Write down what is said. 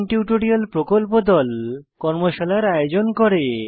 spoken tutorial প্রকল্প দল কর্মশালার আয়োজন করে